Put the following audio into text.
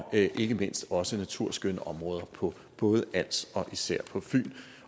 ikke mindst også naturskønne områder på både als og især på fyn